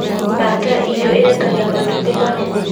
baata iitũ ĩrekagia matumbĩ manene